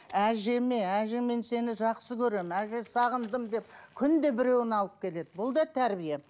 әжеме әже мен сені жақсы көремін әже сағындым деп күнде біреуін алып келеді бұл да тәрбие